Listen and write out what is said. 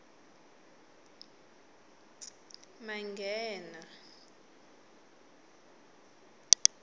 manghena